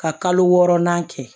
Ka kalo wɔɔrɔnan kɛ